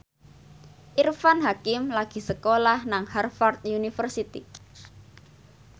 Irfan Hakim lagi sekolah nang Harvard university